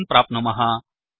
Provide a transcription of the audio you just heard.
इति दोषं प्राप्नुमः